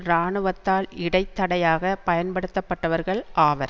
இராணுவத்தால் இடைத்தடையாக பயன்படுத்தப்பட்டவர்கள் ஆவர்